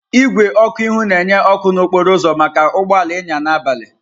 Igwe ọkụ ihu na-enye ọkụ n'okporo ụzọ maka ụgbọ ala ịnya n'abalị.